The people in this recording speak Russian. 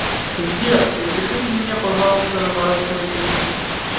сбер запишите меня пожалуйста на наращивание ресниц